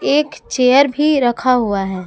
एक चेयर भी रखा हुआ है ।